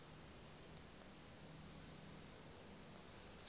umxhosa